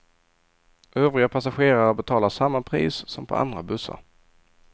Övriga passagerare betalar samma pris som på andra bussar.